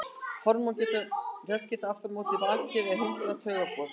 Hormón þess geta aftur á móti vakið eða hindrað taugaboð.